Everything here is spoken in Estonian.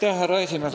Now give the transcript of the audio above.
Härra esimees!